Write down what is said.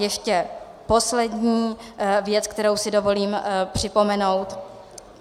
Ještě poslední věc, kterou si dovolím připomenout.